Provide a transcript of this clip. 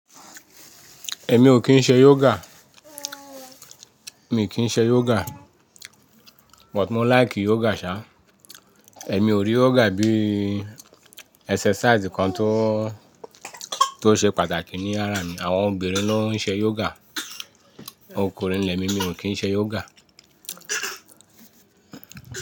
Èmi ò kín ṣe yoga, mi kì í ṣe yoga, but mó like yoga sá. Èmi ò rí yoga bí exercise kan tó, tó ṣe pàtàkì ní ara mi. Àwọn obìnrin ló ń ṣe yoga, ọkùnrin lemi, mi ò kín ṣe yoga.